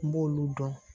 N b'olu dɔn